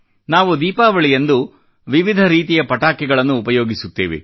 ನಾವು ದೀಪಾವಳಿಯಂದು ವಿವಿಧ ರೀತಿಯ ಪಟಾಕಿಗಳನ್ನು ಉಪಯೋಗಿಸುತ್ತೇವೆ